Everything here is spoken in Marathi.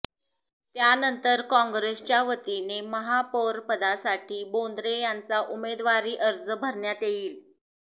त्यानंतर काँग्रेसच्या वतीने महापौरपदासाठी बोंद्रे यांचा उमेदवारी अर्ज भरण्यात येईल